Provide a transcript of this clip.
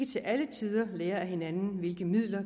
til alle tider lære af hinanden hvilke midler